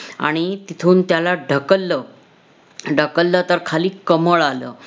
आणि तिथून त्याला ढकललं. ढकललं तर खाली कमळ आलं.